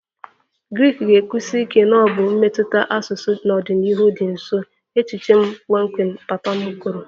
Greek ga-ekwusi ike na ọ bụ mmetụta asụsụ n'ọdịnihu dị nso, echiche m kpọmkwem papa m kwuru